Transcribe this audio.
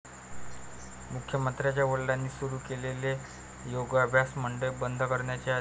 मुख्यमंत्र्यांच्या वडिलांनी सुरू केलेले योगाभ्यास मंडळ बंद करण्याचे आदेश